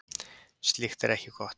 Slíkt er ekki gott.